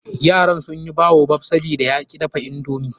Yaran sun yi baobab, sabida ya ki dafa indomi.